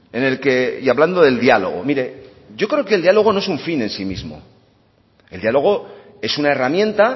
en el que y hablando del diálogo mire yo creo que el diálogo no es un fin en sí mismo el diálogo es una herramienta